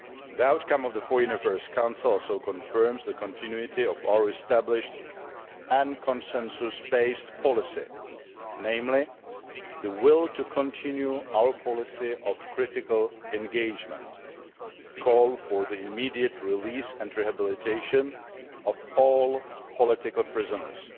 The outcome of the Foreign Affairs Council also confirms the continuity of our established and consensus based policy, namely the will to continue our policy of critical engagement and call for the immediate release and rehabilitation of all political prisoners